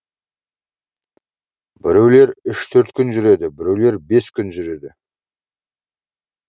біреулер үш төрт күн жүреді біреулер бес күн жүреді